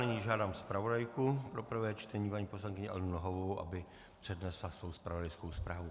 Nyní žádám zpravodajku pro prvé čtení paní poslankyni Alenu Nohavovou, aby přednesla svoji zpravodajskou zprávu.